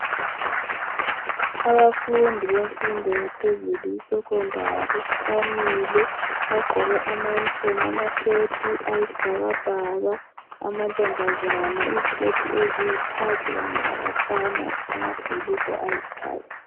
Abafundi bemfundo yaphezulu, isecondary, bamile. Bagqoke ama-uniform, amasheti, ayizibhakabhaka. Amantombazana, iziketi eziyikhakhi. Kanye labafana, amabhulugwe ayikhakhi.